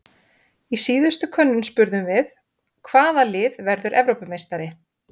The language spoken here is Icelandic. Í síðustu könnun spurðum við- Hvaða lið verður Evrópumeistari?